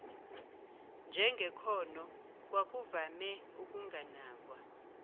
njengekhono kwakuvame ukunganakwa